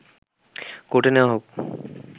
কোর্টে নেওয়া হোক